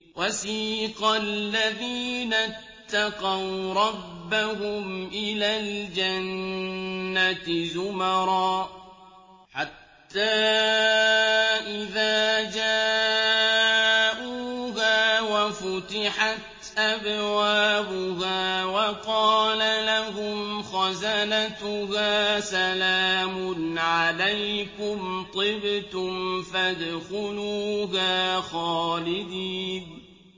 وَسِيقَ الَّذِينَ اتَّقَوْا رَبَّهُمْ إِلَى الْجَنَّةِ زُمَرًا ۖ حَتَّىٰ إِذَا جَاءُوهَا وَفُتِحَتْ أَبْوَابُهَا وَقَالَ لَهُمْ خَزَنَتُهَا سَلَامٌ عَلَيْكُمْ طِبْتُمْ فَادْخُلُوهَا خَالِدِينَ